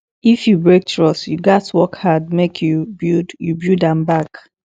if you break trust you gats work hard make you build you build am back